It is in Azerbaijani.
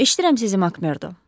Eşidirəm sizi, Makmerdo.